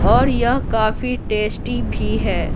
और यह काफी टेस्टी भी है।